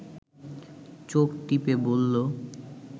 চোখ টিপে বলল